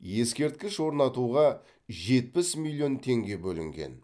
ескерткіш орнатуға жетпіс миллион теңге бөлінген